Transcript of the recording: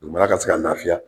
Dugumana ka se ka lafiya